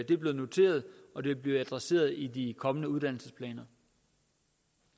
det blev noteret og det vil blive adresseret i de kommende uddannelsesplaner